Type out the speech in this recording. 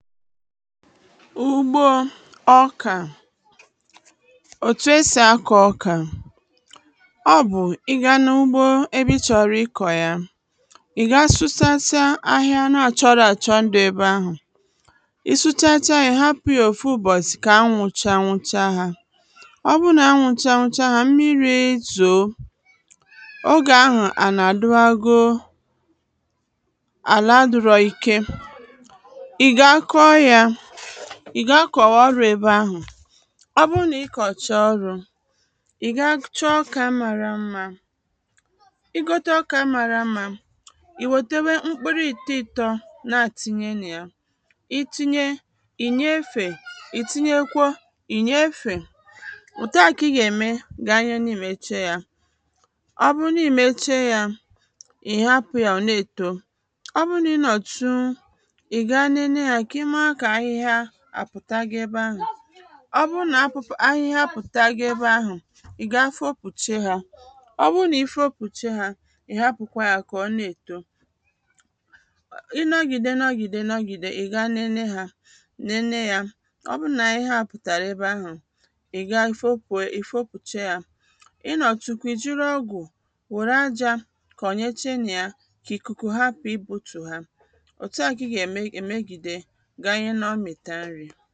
ugbo ọkà òtù esì akọ̀ ọkà ọ bụ̀ ị gaa na ugbo ebe ị chọ̀rọ̀ ịkọ̀ ya ị̀ gaa sụshasịa ahịa na-àchọrọ àchọ dị ebe ahụ̀ ị sụchasịa yȧ hapụ̇ yȧ òfu bọ̀sị̀ kà anwụ̇ chanwụcha hȧ ọ bụrụ nà anwụ̇ chanwụcha hȧ mmiri̇ zòo ogè anwụ̀ à na-àdụ agụọ àla dụrọ ike ìgakọ̀wà ọrụ̀ ebe ahụ̀ ọ bụrụ nà ị kọ̀chà ọrụ̀ ị̀ ga chọọ ka mmàrà mmȧ ị gote ọkà mmàrà mmȧ ì wòtewe mkpụrụ ị̀tọ ị̀tọ na àtịnyé nà ya itinyė ìnyè efè ìtinyekwȧ ìnyè efè wòte àkà ị gà-ème gà anya nà i mèchaa yȧ ọ bụrụ nà i mèchaa yȧ ị̀ hapụ̇ yȧ ọ̀ na-èto ọ bụrụ nà ị nọ̀tụ ị̀ gaa n’ene yȧ àpụ̀ta gị ebe ahụ̀ ọ bụrụ nà ahụhịa pụ̀ta gị ebe ahụ̀ ị gaa fopùche hȧ ọ bụrụ nà ị fopùche hȧ ị̀ hapụ̀kwa yȧ kà ọ na-èto ị nọgìde nọgìde nọgìde ị̀ gaa nene hȧ nene yȧ ọ bụrụ nà ahụhịa pụ̀tàrà ebe ahụ̀ ị gaa fopù e fopùche yȧ ị nọ̀tụ̀kwà ì jiri ọgụ̀ wùrù ajȧ kọ̀nyeche nà ya kà ị̀ kụkụ hapụ̀ ị bu̇tù ha òtu à kà ị gà-ème gịdị̇ enyi n'ọ mịtà nri